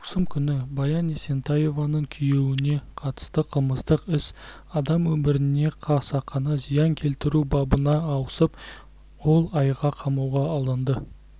маусым күні баян есентаеваның күйеуіне қатысты қылмыстық іс адам өміріне қасақана зиян келтіру бабына ауысып ол айға қамауға алынды